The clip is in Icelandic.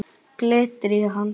Glittir í hann.